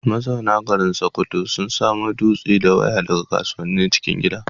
Mazauna garin Sokoto sun samo dutse da waya daga kasuwannin cikin gida.